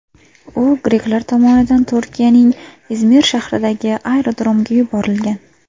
U greklar tomonidan Turkiyaning Izmir shahridagi aerodromga yuborilgan.